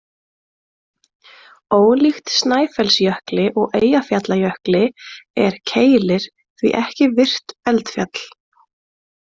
Ólíkt Snæfellsjökli og Eyjafjallajökli, er Keilir því ekki virkt eldfjall.